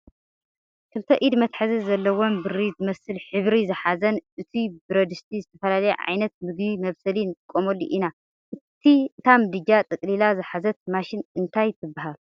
ክልተ ኢድ መትሐዚ ዘለዎን ብሪ ዝመስል ሕብሪ ዝሓዘን እቱይ በረድስቲ ዝተፈላለየ ዓይነት ምግቢ መብሰሊ ንጥቀመሉ ኢና። እታ ምድጃ ጠቅሊላ ዝሓዘት ማሽን እንታይ ትብሃል?